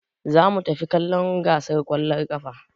Za mu tafi kallon gasar ƙwallon ƙafa.